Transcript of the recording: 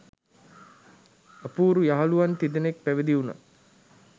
අපූරු යහළුවන් තිදෙනෙක් පැවිදි වුණා